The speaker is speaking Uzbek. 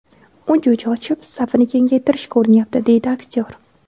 U jo‘ja ochib, safini kengaytirishga urinyapti, – deydi aktyor.